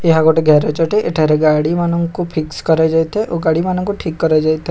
ଏହା ଗୋଟେ ଗ୍ୟାରେଜ ଅଟେ ଏଠାରେ ଗାଡ଼ିମାନଙ୍କୁ ଫିକ୍ସ କରାଯାଇଥାଏ ଓ ଗାଡିମାନଙ୍କୁ ଠିକ୍ କରାଯାଇଥାଏ।